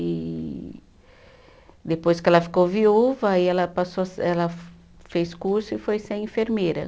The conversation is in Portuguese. E depois que ela ficou viúva, aí ela passou a se, ela fez curso e foi ser enfermeira.